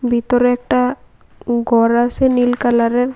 ভিতরে একটা গর আছে নীল কালারের ।